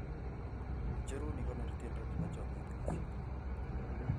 Ijerun ikonor tiendo nepo chomyet kaseet